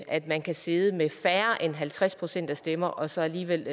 at man kan sidde med færre end halvtreds procent af stemmerne og så alligevel